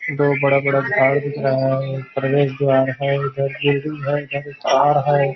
दो बड़ा बड़ा दिख रहा है प्रवेश द्वार है इधर है उधर ।